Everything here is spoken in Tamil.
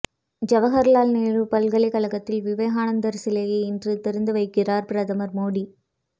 ஜவஹர்லால் நேரு பல்கலைக்கழத்தில் விவேகானந்தர் சிலையை இன்று திறந்து வைக்கிறார் பிரதமர் மோடி